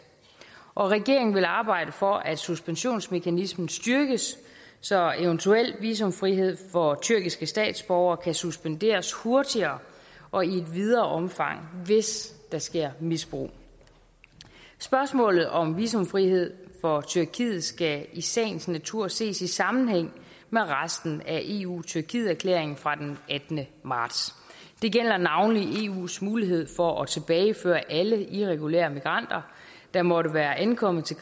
regeringen vil arbejde for at suspensionsmekanismen styrkes så eventuel visumfrihed for tyrkiske statsborgere kan suspenderes hurtigere og i et videre omfang hvis der sker misbrug spørgsmålet om visumfrihed for tyrkiet skal i sagens natur ses i sammenhæng med resten af eu tyrkiet erklæringen fra den attende marts det gælder navnlig eus mulighed for at tilbageføre alle irregulære migranter der måtte være ankommet til